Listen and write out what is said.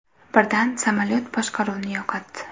Birdan samolyot boshqaruvni yo‘qotdi.